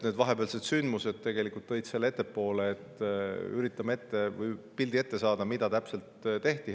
Need vahepealsed sündmused tõid selle ettepoole ja nüüd üritame sellest pildi ette saada, mida täpselt tehti.